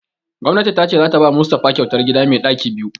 Gwannati ta ce za ta ba Mustapha kyautar gida mai ɗaki biyu